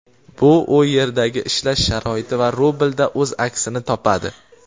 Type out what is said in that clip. bu u yerdagi ishlash sharoiti va rublda o‘z aksini topadi.